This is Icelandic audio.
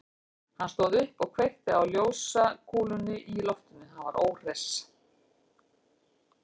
Hann stóð upp og kveikti á ljósakúlunni í loftinu, hann var óhress.